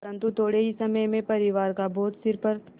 परन्तु थोडे़ ही समय में परिवार का बोझ सिर पर